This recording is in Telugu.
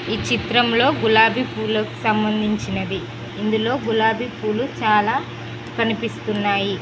ఈ చిత్రంలో గులాబీ పూలక్ సంబంధించినది ఇందులో గులాబీ పూలు చాలా కనిపిస్తున్నాయి.